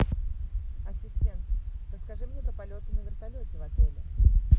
ассистент расскажи мне про полеты на вертолете в отеле